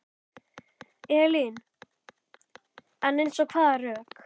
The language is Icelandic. Elín: En eins og hvaða rök?